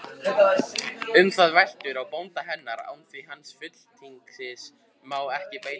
Um það veltur á bónda hennar, því án hans fulltingis má ekki beita því.